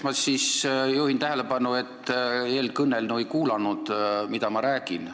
Ma juhin tähelepanu, et eelkõneleja ei kuulanud, mida ma räägin.